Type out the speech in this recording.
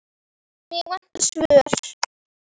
Mig vantar svör.